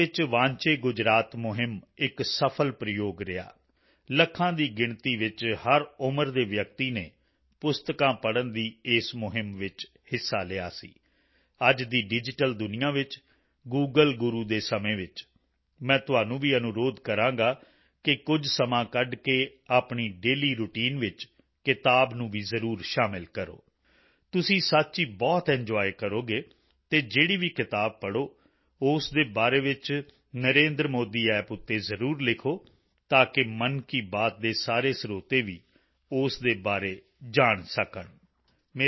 ਗੁਜਰਾਤ ਵਿੱਚ ਵਾਂਚੇ ਗੁਜਰਾਤ ਮੁਹਿੰਮ ਇੱਕ ਸਫਲ ਪ੍ਰਯੋਗ ਰਿਹਾ ਲੱਖਾਂ ਦੀ ਗਿਣਤੀ ਵਿੱਚ ਹਰ ਉਮਰ ਦੇ ਵਿਅਕਤੀ ਨੇ ਪੁਸਤਕਾਂ ਪੜ੍ਹਨ ਦੀ ਇਸ ਮੁਹਿੰਮ ਵਿੱਚ ਹਿੱਸਾ ਲਿਆ ਸੀ ਅੱਜ ਦੀ ਡਿਜੀਟਲ ਦੁਨੀਆ ਵਿੱਚ ਗੂਗਲ ਗੁਰੂ ਦੇ ਸਮੇਂ ਵਿੱਚ ਮੈਂ ਤੁਹਾਨੂੰ ਵੀ ਅਨੁਰੋਧ ਕਰਾਂਗਾ ਕਿ ਕੁਝ ਸਮਾਂ ਕੱਢ ਕੇ ਆਪਣੀ ਡੇਲੀ ਰਾਉਟਾਈਨ ਵਿੱਚ ਕਿਤਾਬ ਨੂੰ ਵੀ ਜ਼ਰੂਰ ਸ਼ਾਮਲ ਕਰੋ ਤੁਸੀਂ ਸੱਚ ਹੀ ਬਹੁਤ ਐਂਜੋਏ ਕਰੋਗੇ ਅਤੇ ਜਿਹੜੀ ਵੀ ਕਿਤਾਬ ਪੜ੍ਹੋ ਉਸ ਦੇ ਬਾਰੇ ਵਿੱਚ NarendraModiApp ਤੇ ਜ਼ਰੂਰ ਲਿਖੋ ਤਾਂ ਕਿ ਮਨ ਕੀ ਬਾਤ ਦੇ ਸਾਰੇ ਸਰੋਤੇ ਵੀ ਉਸ ਦੇ ਬਾਰੇ ਜਾਣ ਸਕਣ